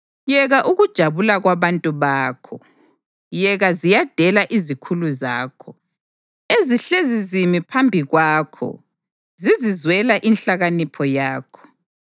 Yeka ukujabula kwabantu bakho! Yeka ziyadela izikhulu zakho, ezihlezi zimi phambi kwakho zizizwela inhlakanipho yakho!